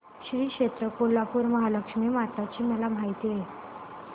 श्री क्षेत्र कोल्हापूर श्रीमहालक्ष्मी माता ची मला माहिती दे